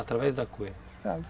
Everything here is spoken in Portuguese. Através da cunha